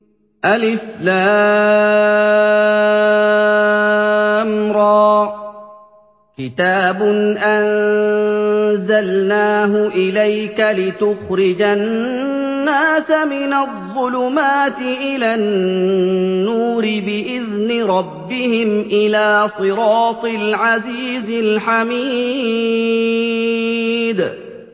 الر ۚ كِتَابٌ أَنزَلْنَاهُ إِلَيْكَ لِتُخْرِجَ النَّاسَ مِنَ الظُّلُمَاتِ إِلَى النُّورِ بِإِذْنِ رَبِّهِمْ إِلَىٰ صِرَاطِ الْعَزِيزِ الْحَمِيدِ